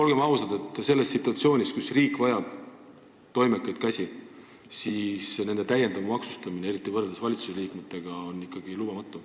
Olgem ausad, selles situatsioonis, kus riik vajab toimekaid käsi, on pensionäride sissetulekute täiendav maksustamine, eriti võrreldes valitsusliikmete omaga, täiesti lubamatu.